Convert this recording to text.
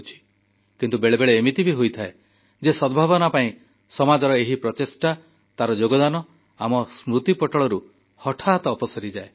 କିନ୍ତୁ ବେଳେବେଳେ ଏମିତି ବି ହୋଇଥାଏ ଯେ ସଦ୍ଭାବନା ପାଇଁ ସମାଜର ଏହି ପ୍ରଚେଷ୍ଟା ତାର ଯୋଗଦାନ ଆମ ସ୍ମୃତିପଟଳରୁ ହଠାତ୍ ଅପସରିଯାଏ